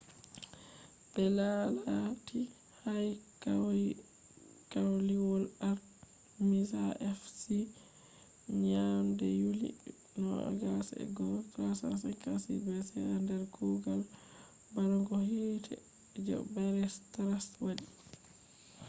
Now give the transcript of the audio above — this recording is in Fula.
be laalati haykaliwol artemis ha ephesus nyande yuli 21 356 bce nder kuugal barugo hiite je herostratus wadi